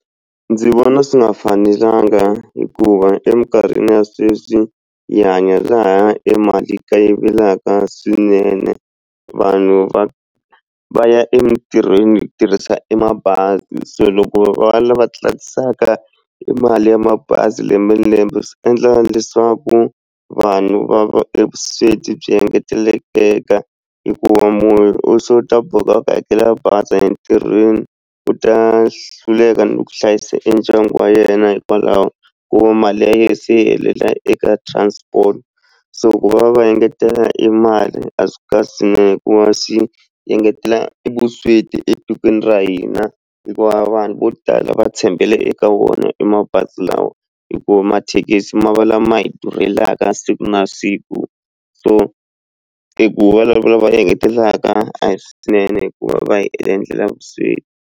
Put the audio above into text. Ndzi vona swi nga fanelanga hikuva eminkarhini ya sweswi hi hanya laha emali yi kayivelaka swinene vanhu va va ya emitirhweni hi tirhisa emabazi so loko va lava tlakusaka i mali ya mabazi lembe lembe swi endla leswaku vanhu va va evusweti byi engetelekeka hikuva munhu u se u ta boheka ku hakela bazi entirhweni u ta hluleka ni ku hlayisa e ndyangu wa yena hikwalaho ku va mali ya yena se yi helela eka transport so ku va va engetela e mali a swi kahle hikuva engetela evusweti etikweni ra hina hikuva vanhu vo tala va tshembele eka wona emabazi lawa hikuva mathekisi ma va lama hi durhela mhaka siku na siku so i ku va engetelaka a hi swinene hikuva va hi endlela vusweti.